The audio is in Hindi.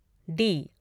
डी